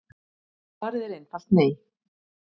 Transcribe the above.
Svarið er einfalt nei.